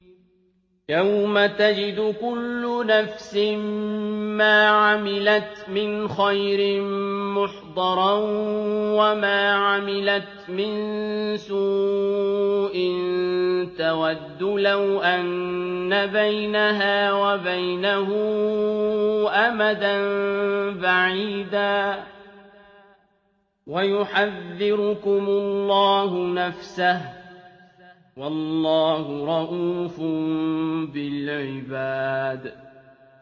يَوْمَ تَجِدُ كُلُّ نَفْسٍ مَّا عَمِلَتْ مِنْ خَيْرٍ مُّحْضَرًا وَمَا عَمِلَتْ مِن سُوءٍ تَوَدُّ لَوْ أَنَّ بَيْنَهَا وَبَيْنَهُ أَمَدًا بَعِيدًا ۗ وَيُحَذِّرُكُمُ اللَّهُ نَفْسَهُ ۗ وَاللَّهُ رَءُوفٌ بِالْعِبَادِ